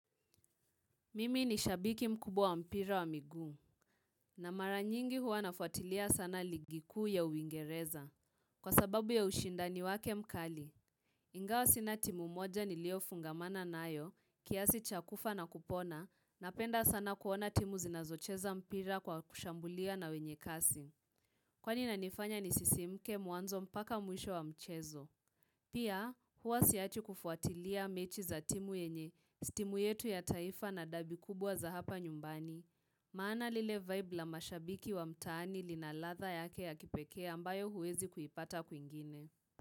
Mimi ni shabiki mkubwa wa mpira wa miguu, na maranyingi huwa nafuatilia sana ligi kuu ya uingereza. Kwa sababu ya ushinda ni wake mkali. Ingawa sina timu moja nilio fungamana nayo, kiasi cha kufa na kupona, napenda sana kuona timu zinazocheza mpira kwa kushambulia na wenye kasi. Kwa ini na nifanya nisisimke mwanzo mbaka mwisho wa mchezo. Pia, huwa siachi kufuatilia mechi za timu yenye, si timu yetu ya taifa na dabi kubwa za hapa nyumbani. Maana lile vibe la mashabiki wa mtaani linaladha yake ya kipekee ambayo huwezi kuipata kwingine.